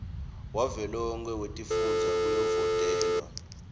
wavelonkhe wetifundza kuyovotelwa